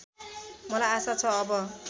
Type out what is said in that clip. मलाई आशा छ अब